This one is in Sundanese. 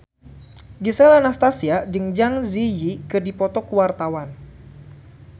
Gisel Anastasia jeung Zang Zi Yi keur dipoto ku wartawan